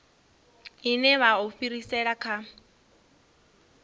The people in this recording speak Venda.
ine vha o fhirisela kha